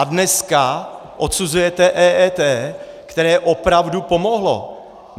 A dneska odsuzujete EET, které opravdu pomohlo.